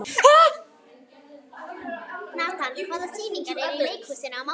Natan, hvaða sýningar eru í leikhúsinu á mánudaginn?